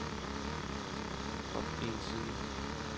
op en side